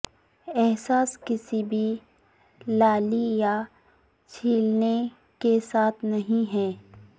احساس کسی بھی لالی یا چھیلنے کے ساتھ نہیں ہے